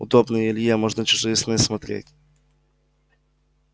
удобно и илье можно чужие сны смотреть